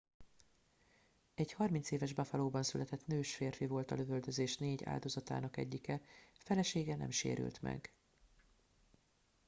egy 30 éves buffalóban született nős férfi volt a lövöldözés 4 áldozatának egyike felesége nem sérült meg